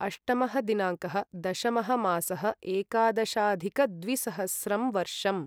अष्टमः दिनाङ्कः दशमः मासः एकादशाधिकद्विसहस्रं वर्षम्